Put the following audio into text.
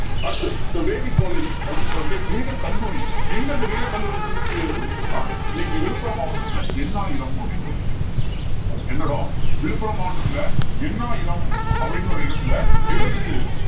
அடுத்து vedic college அப்படின்னு சொல்லக்கூடிய வேதக்கல்லூரி எங்க அந்த வேதக்கல்லூரி இருந்துச்சு அப்படின்னு சொன்னா இன்னைக்கு விழுப்புரம் மாவட்டத்துல எண்ணாயிரம் அப்படின்னு ஒண்ணு இருக்கும் என்ன இடம் விழுப்புரம் மாவட்டத்துல எண்ணாயிரம் அப்படின்னு ஒரு இடத்துல எது இருந்துச்சு